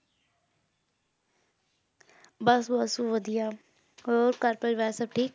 ਬਸ ਬਸ, ਵਧੀਆ ਹੋਰ ਘਰ ਪਰਿਵਾਰ ਸਭ ਠੀਕ